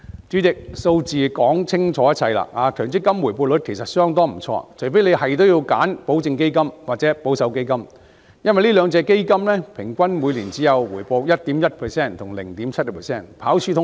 主席，數字說明一切，強積金回報率其實相當不錯，除非一定要選擇保證基金或保守基金，這兩種基金平均每年回報率只有 1.1% 和 0.7%， 跑輸通脹。